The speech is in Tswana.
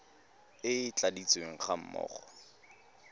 e e tladitsweng ga mmogo